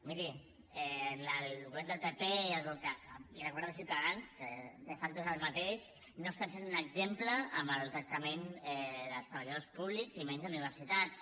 miri el govern del pp i l’acord de ciutadans que de facto és el mateix no estan sent un exemple en el tractament dels treballadors públics i menys a universitats